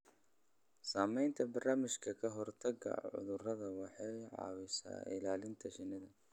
Samaynta barnaamijyo ka hortagga cudurrada waxay caawisaa ilaalinta shinnida.